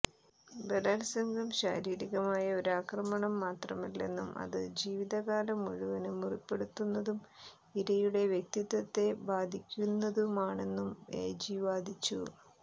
ബലാത്സംഗം ശാരീരികമായ ഒരു ആക്രമണം മാത്രമല്ലെന്നും അത് ജീവിതകാലം മുഴുവന് മുറിപ്പെടുത്തുന്നതും ഇരയുടെ വ്യക്തിത്വത്തെ ബാധിക്കുന്നതുമാണെന്നും എജി വാദിച്ചു